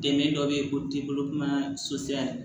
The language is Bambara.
Dɛmɛ dɔ bɛ ye o t'i bolo kuma